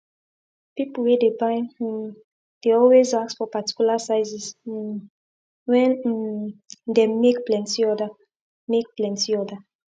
people wey dey buy um dey always ask for particular sizes um wen um dem make plenty order make plenty order